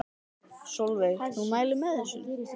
Sólveig: Þú mælir með þessu?